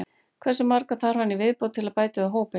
Hversu marga þarf hann í viðbót til að bæta við hópinn?